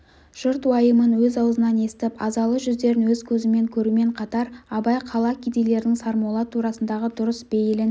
жұрт уайымын өз аузынан естіп азалы жүздерін өз көзімен көрумен қатар абай қала кедейлерінің сармолла турасындағы дұрыс бейілін